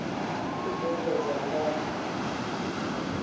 u bveledza nga dacst uri